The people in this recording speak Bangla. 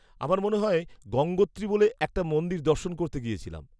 -আমার মনে হয় গঙ্গোত্রী বলে একটা মন্দির দর্শন করতে গিয়েছিলাম।